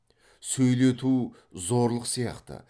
сөйлету зорлық сияқты